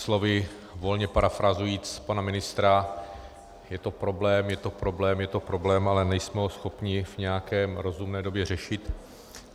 Slovy volně parafrázuji pana ministra: je to problém, je to problém, je to problém, ale nejsme ho schopni v nějaké rozumné době řešit.